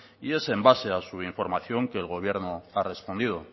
y es en base a su información que el gobierno ha respondido